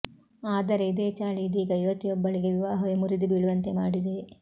ಆದರೆ ಇದೇ ಚಾಳಿ ಇದೀಗ ಯುವತಿಯೊಬ್ಬಳಿಗೆ ವಿವಾಹವೇ ಮುರಿದು ಬೀಳುವಂತೆ ಮಾಡಿದೆ